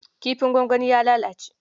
Kifin gwangwanin ya lalace.